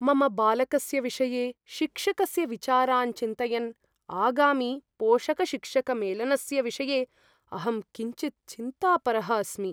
मम बालकस्य विषये शिक्षकस्य विचारान् चिन्तयन् आगामि पोषकशिक्षकमेलनस्य विषये अहं किञ्चित् चिन्तापरः अस्मि।